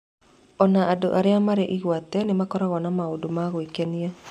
O na andũ arĩa marĩ igweta nĩ makoragwo na maũndũ ma gwĩkenia.